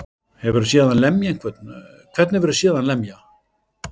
Hefurðu séð hann lemja einhvern. hvern hefurðu séð hann lemja?